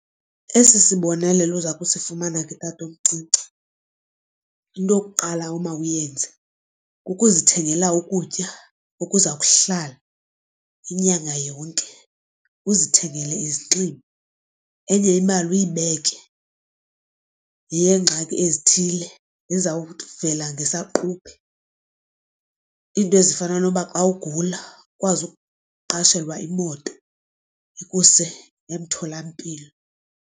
Esi sibonelelo uza kusifumana ke tatomncinci into yokuqala omawuyenze kukuzithengela ukutya okuza kuhlala inyanga yonke. Uzithengele izinxibo, enye ibali uyibeke yeyengxaki ezithile ezizawuvela ngesaquphe iinto ezifana nokuba xa ugula ukwazi ukuqashelwa imoto ikuse emtholampilo.